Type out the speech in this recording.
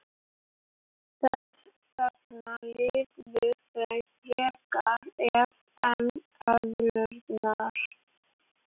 Þess vegna lifðu þau frekar af en eðlurnar.